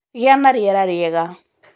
Gĩa na rĩera rĩega